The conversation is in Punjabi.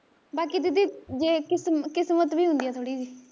ਬਾਕੀ ਦੀਦੀ ਜੇ ਕਿਸਮ ਕਿਸਮਤ ਵੀ ਹੁੰਦੀ ਐ ਥੋੜੀ ਜਹੀ